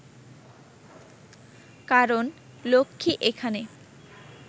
কারণ লক্ষ্মী এখানে